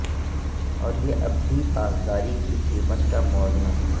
اور یہ اب بھی پاسداری کی قیمت کا موازنہ